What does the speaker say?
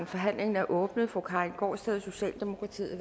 forhandlingen er åbnet fru karin gaardsted socialdemokratiet